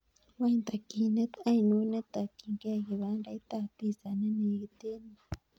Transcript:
Wany takyinet ainon ne takyingei kibandait ab piza nenegit en yu